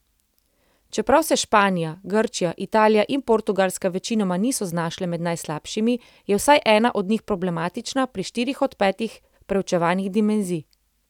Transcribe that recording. Čeprav se Španija, Grčija, Italija in Portugalska večinoma niso znašle med najslabšimi, je vsaj ena od njih problematična pri štirih od petih preučevanih dimenzij.